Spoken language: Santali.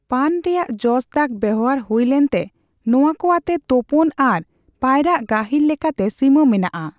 ᱯᱟᱱ ᱨᱮᱭᱟᱜ ᱡᱚᱥ ᱫᱟᱜᱽ ᱵᱮᱣᱦᱟᱨ ᱦᱩᱭ ᱞᱮᱱᱛᱮ ᱱᱚᱣᱟ ᱠᱚ ᱟᱛᱮ ᱛᱳᱯᱳᱱ ᱟᱨ ᱯᱟᱭᱨᱟᱜ ᱜᱟᱹᱦᱤᱨ ᱞᱮᱠᱟᱛᱮ ᱥᱤᱢᱟᱹ ᱢᱮᱱᱟᱜᱼᱟ ᱾